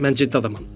Mən ciddi adamam.